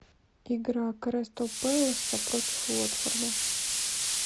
игра кристал пэласа против уотфорда